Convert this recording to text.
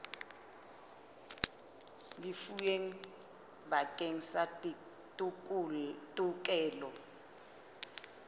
lefuweng bakeng sa tokelo ya